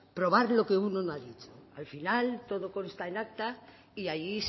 probar lo que uno no ha dicho al final todo consta en acta y ahí